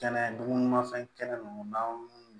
Kɛnɛ dunmafɛn kɛnɛ ninnu n'a